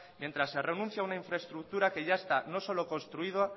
mientras se renuncia a una infraestructura que ya esta no solo